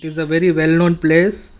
its a very well known place.